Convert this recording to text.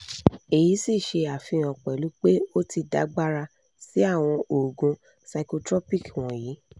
èyí sì ṣe àfihàn pẹ̀lú pé o ti dàgbára sí àwọn oògùn psychotropic wọ̀nyí